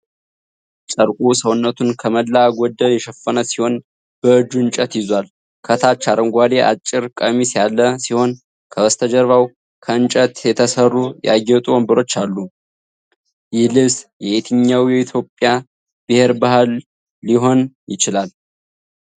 ጨርቁ ሰውነቱን ከሞላ ጎደል የሸፈነ ሲሆን በእጁ እንጨት ይዟል። ከታች አረንጓዴ አጭር ቀሚስ ያለ ሲሆን ከበስተጀርባው ከእንጨት የተሰሩ ያጌጡ ወንበሮች አሉ። ይህ ልብስ የየትኛው የኢትዮጵያ ብሔር ባህል ሊሆን ይችላል?